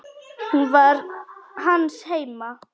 Hún var hans heima.